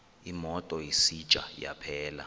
imoto isitsha yaphela